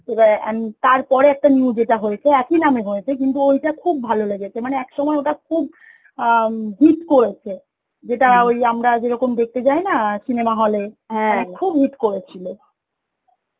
এবার, এন তার পরে একটা new যেটা হয়েছে সে এক ই না এ হয়েছে, ঐটা খুব ভালো লেগেছে, মানে এক সময় ওটা খুব অ্যাঁ hit করেছে যেটা আমরা যেরকম দেখতে যাই না cinema hall এ খুব hit করেছিল